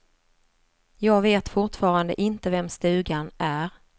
Jag vet fortfarande inte vems stugan är.